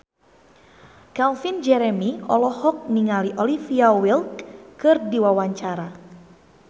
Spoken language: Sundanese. Calvin Jeremy olohok ningali Olivia Wilde keur diwawancara